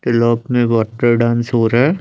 Dance हो रहा है।